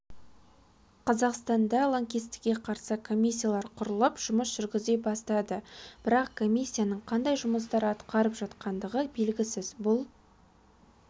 қазақстанда лаңкесттікке қарсы комиссиялар құрылып жұмыс жүргізе бастады бірақ комиссияның қандай жұмыстар атқарып жатқандығы белгісіз бұл